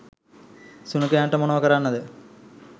සුනඛයන්ට මොනව කරන්නද